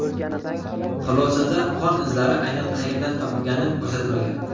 Xulosada qon izlari aynan qayerdan topilgani ko‘rsatilmagan.